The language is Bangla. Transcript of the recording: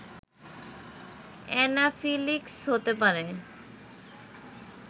অ্যানাফিল্যাক্সিস হতে পারে